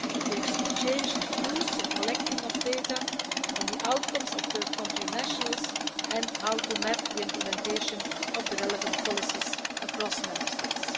We exchanged views on the collecting of data, on the outcomes of third-country nationals and how to map the implementation of the relevant policies across Member States.